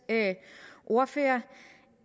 ordfører